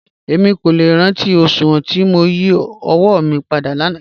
Èmi kò lẹ́ rántí oṣùwọn tí mó yí ọ̀wọ̀ mí pádà láńà